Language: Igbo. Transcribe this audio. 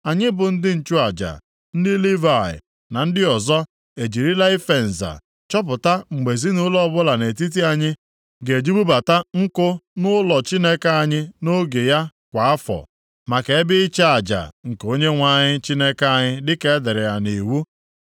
“Anyị bụ ndị nchụaja, ndị Livayị na ndị ọzọ, ejirila ife nza chọpụta mgbe ezinaụlọ ọbụla nʼetiti anyị ga-eji bubata nku nʼụlọ Chineke anyị nʼoge ya kwa afọ, maka ebe ịchụ aja nke Onyenwe anyị Chineke anyị dịka e dere ya nʼiwu.